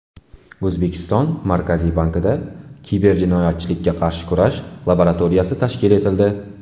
O‘zbekiston Markaziy bankida kiberjinoyatchilikka qarshi kurash laboratoriyasi tashkil etildi.